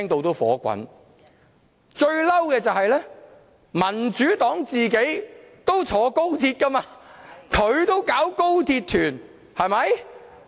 最氣憤的是，民主黨自己也坐高鐵，它也舉辦高鐵旅行團。